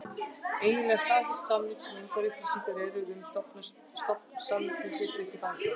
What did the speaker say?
Eiginleg staðfesting samninga, sem engar upplýsingar eru um í stofnsamningi, getur ekki farið fram.